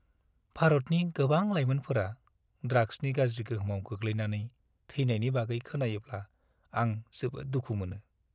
भारतनि गोबां लायमोनफोरा ड्राग्सनि गाज्रि गोहोमाव गोग्लैनायनै थैनायनि बागै खोनायोब्ला आं जोबोद दुखु मोनो।